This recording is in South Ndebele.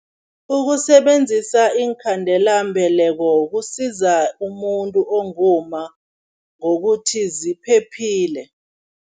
Ukusebenzisa iinkhandelambeleko kusiza umuntu ongumma ngokuthi ziphephile.